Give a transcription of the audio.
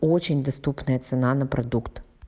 очень доступная цена на продукт